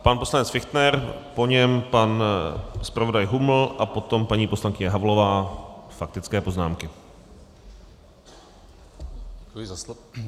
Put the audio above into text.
Pan poslanec Fichtner, po něm pan zpravodaj Huml a potom paní poslankyně Havlová - faktické poznámky.